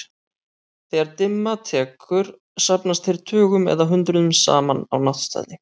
Þegar dimma tekur safnast þeir tugum eða hundruðum saman á náttstaði.